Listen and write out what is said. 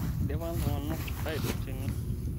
idipa ntunganak aidur tene